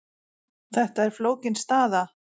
Þetta er flókin staða,